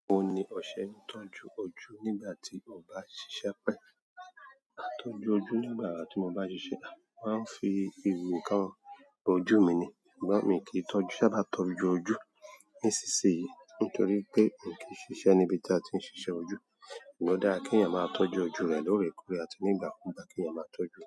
O ni o ṣe ń tọ́jú ojú nígbà tí o bá ń ṣiṣẹ́ pẹ̀. A ìtọ́jú ojú nígbà tí mo bá ń ṣiṣẹ́. Wọ́n á fi ewu kan ojú mi ni, ṣùgbọ́n mí kí ń tọ́jú, sábà tọ́jú ojú níṣisyìí nítorí pé mí kí ń ṣiṣẹ́ níbi tí a ti ń ṣiṣẹ́ ojú. Amọ o dára kí èeyàn má tọ́jú ojú rẹ̀ lórèkórè àti ní ìgbàkugbà kí èeyàn má tọ́jú.